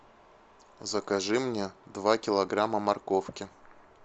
закажи мне два килограмма морковки